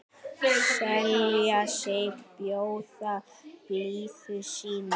selja sig, bjóða blíðu sínu